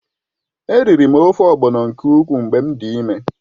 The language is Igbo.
Eriri m ofe ogbọ̀nọ nke ukwuu mgbe m dị ịme.